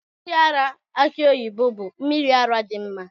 Mmiri ara aki oyibo bụ mmiri ara dị mma.